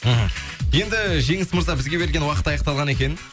мхм енді жеңіс мырза бізге берілген уақыт аяқталған екен